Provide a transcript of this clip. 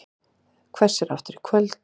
Hvessir aftur í kvöld